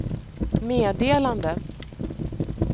meddelande